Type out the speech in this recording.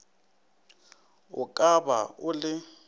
o ka ba o le